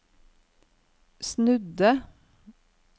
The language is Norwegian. snudde